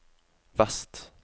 vest